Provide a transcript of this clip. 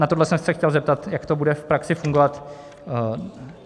Na tohle jsem se chtěl zeptat, jak to bude v praxi fungovat.